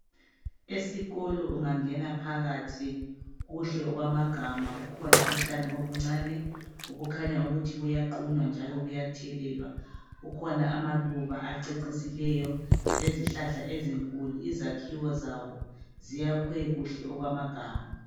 Esikolo ungangena phakathi kuhle okwamagama, kukhona utshani ubuncane obukhanya ukuthi buyaqhunywa njalo buyathelelwa. Kukhona amaluba acecisileyo lezihlahla ezinkulu, izakhiwo zabo ziyakhiwe kuhle okwamagama.